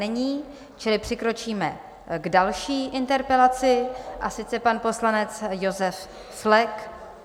Není, čili přikročíme k další interpelaci, a sice pan poslanec Josef Flek.